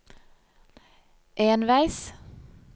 enveis